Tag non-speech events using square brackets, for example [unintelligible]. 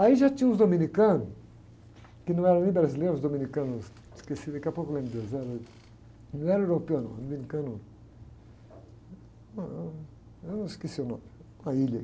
Aí já tinha uns dominicanos, que não eram nem brasileiros, uns dominicanos, esqueci, daqui a pouco lembro de onde eles eram, [unintelligible] não eram europeus, não, dominicanos, ãh, eu esqueci o nome, uma ilha aí.